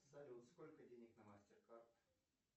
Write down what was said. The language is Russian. салют сколько денег на мастер кард